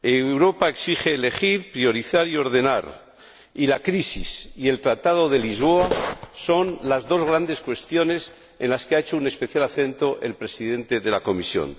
Europa exige elegir, priorizar y ordenar, y la crisis y el Tratado de Lisboa son las dos grandes cuestiones en las que ha hecho especial hincapié el Presidente de la Comisión.